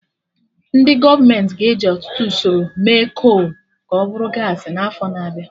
Ndị gọọmenti ga-eji ọtụtụ usoro mee kol ka ọ bụrụ gaasị n'afọ na-abịa